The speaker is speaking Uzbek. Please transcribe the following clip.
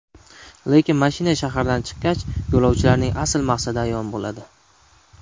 Lekin mashina shahardan chiqqach, yo‘lovchilarning asl maqsadi ayon bo‘ladi.